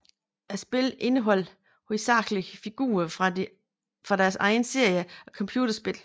Spillene indeholder hovedsagelig figurer fra deres egne serier af computerspil